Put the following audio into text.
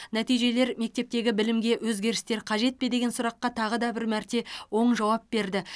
нәтижелер мектептегі білімге өзгерістер қажет пе деген сұраққа тағы бір мәрте оң жауап берді